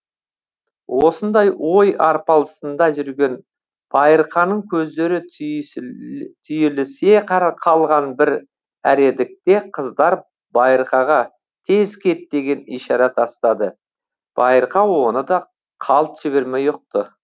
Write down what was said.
осындай ой арпалысында жүрген байырқаның көздері түйілісе қалған бір әредікте қыздар байырқаға тез кет деген ишәрә тастады байырқа оны да қалт жібермей ұқты